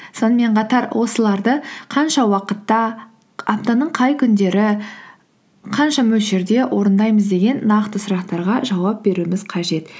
сонымен қатар осыларды қанша уақытта аптаның қай күндері қанша мөлшерде орындаймыз деген нақты сұрақтарға жауап беруіміз қажет